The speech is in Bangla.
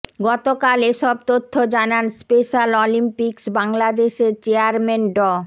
গতকাল এসব তথ্য জানান স্পেশাল অলিম্পিকস বাংলাদেশের চেয়ারম্যান ড